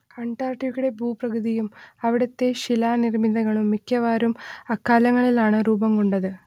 അന്റാർട്ടിക്കയുടെ ഭൂപ്രകൃതിയും അവിടുത്തെ ശിലാനിർമ്മിതികളും മിക്കവാറും അക്കാലങ്ങളിലാണ് രൂപം കൊണ്ടത്